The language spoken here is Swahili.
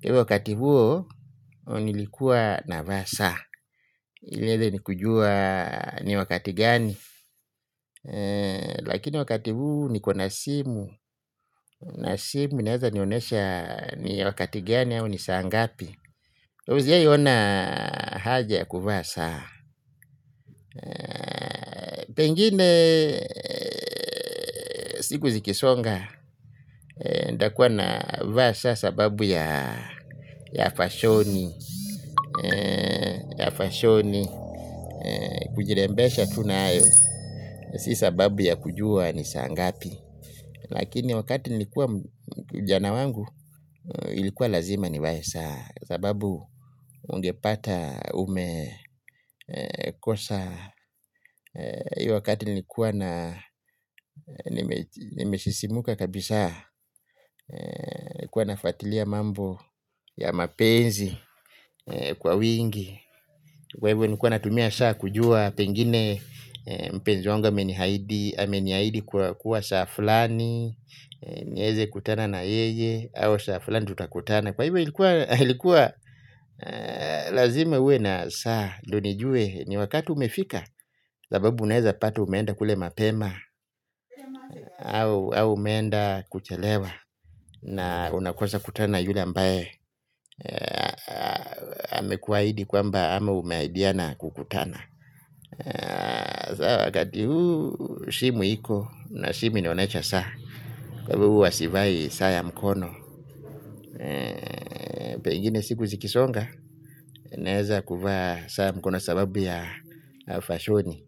Iwe wakati huo nilikuwa navaa saa ile ili ni kujua ni wakati gani. Lakini wakati huu niko na simu. Na simu inaeza nionyesha ni wakati gani au ni saa ngapi. Hujawahi ona haja ya kuvaa saa. Pengine siku zikisonga nitakuwa navaa saa sababu ya fashoni. Fashoni kujirembesha tu nayo. Si sababu ya kujua ni saa ngapi. Lakini wakati nilikuwa ujana wangu ilikuwa lazima nivae saa sababu ungepata umekosa hii wakati nilikuwa na nimesisimuka kabisa kuwa nafuatilia mambo ya mapenzi. Kwa wingi. Kwa hivyo nilikuwa natumia saa kujua pengine mpenzi wangu ameniahidi ameniahidi kuwa saa fulani nieze kutana na yeye au saa fulani tutakutana kwa hivyo ilikuwa lazime uwe na saa ndio nijue ni wakati umefika sababu unaeza pata umeenda kule mapema au umeenda kuchelewa na unakosa kukutana yule ambaye amekuahidi kwamba ama umeahidiana kukutana. Saa wakati huu simu iko na simu inaonyesha saa. Kwa hivyo huwa sivai saa ya mkono. Pengine siku zikisonga. Naeza kuvaa saa mkono sababu ya fashoni.